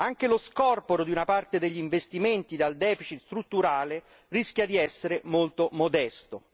Anche lo scorporo di una parte degli investimenti del deficit strutturale rischia di essere molto modesto.